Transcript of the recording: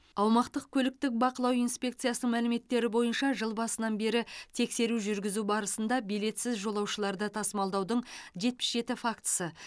аумақтық көліктік бақылау инспекциясының мәліметтері бойынша жыл басынан бері тексеру жүргізу барысында билетсіз жолаушыларды тасымалдаудың жетпіс жеті фактісі